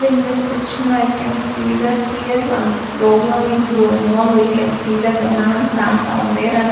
in this picture i can see that here one program is going on we can see that the man sat on there and--